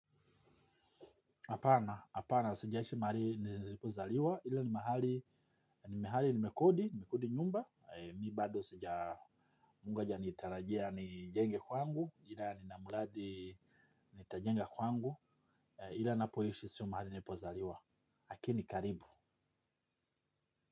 Apana, apana, sijaishi mahali nilipozaliwa, ila ni mahali, ni mahali nimekodi, nimekodi nyumba, mi bado sija mungu hajanitarajia nijenge kwangu, ila nina muradi nitajenga kwangu, ila napoishi siyo mahali nilipozaliwa lakini karibu.